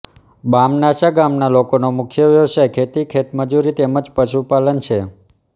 બામનાસા ગામના લોકોનો મુખ્ય વ્યવસાય ખેતી ખેતમજૂરી તેમ જ પશુપાલન છે